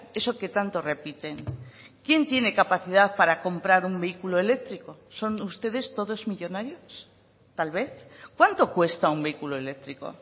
eso que tanto repiten quién tiene capacidad para comprar un vehículo eléctrico son ustedes todos millónarios tal vez cuánto cuesta un vehículo eléctrico